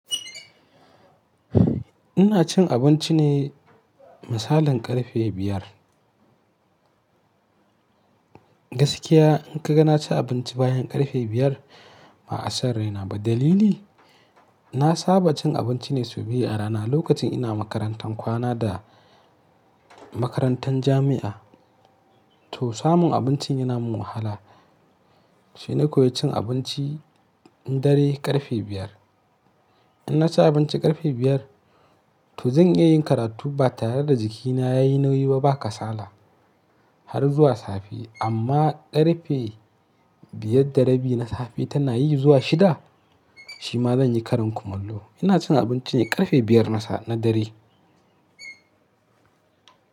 Ina cin abinci ne misalin ƙarfe biyar. Gaskiya in ka ga na ci abinci bayan ƙarfe biyar, ba'a san raina ba. Dalili? Gaskiya in ka ga na ci abinci bayan ƙarfe biyar, ba'a san raina ba. Dalili? Na saba cin abinci ne sau biyu a rana. Lokacin ina makarantan kwana da makarantan jami'a, to samun abinci yana min wahala. In na ci abinci ƙarfe biyar, to zan iya yin karatu ba tare da jikina yayi nauyi ba, ba kasala har zuwa safe. Amma ƙarfe biyar da rabi na safe tana yi zuwa shida, shi ma zan yi karan kumallo. Ina cin abinci ne ƙarfe biyar na dare.